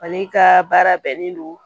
Ale ka baara bɛnnen don